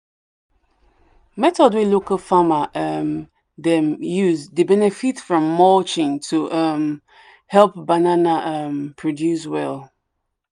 method way local farmer um them used dey benefit from mulching to um help banana um produce well.